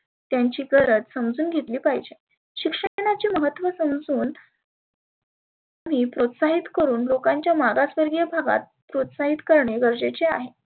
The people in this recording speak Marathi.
त्यांची गरज समजुन घेतली पाहिजे. शिक्षणाचे महत्व समजुन प्रोत्साहीत करुण लोकांच्या मागासवर्गिय भागात प्रोत्साहीत करणे गरजेचे आहे.